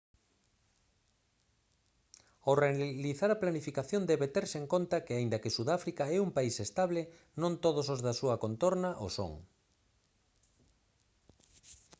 ao realizar a planificación debe terse en conta que aínda que sudáfrica é un país estable non todos os da súa contorna o son